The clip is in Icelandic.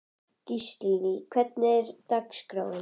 Gíslný, hvernig er dagskráin?